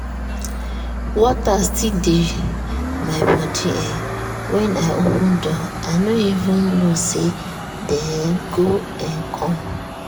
water still dey my body um when i open door i no even know say dem um go um come.